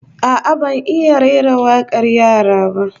A'a, ban iya rera wakar yara ba